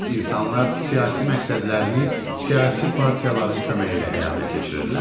İnsanlar siyasi məqsədlərini siyasi partiyaların köməyi ilə həyata keçirirlər.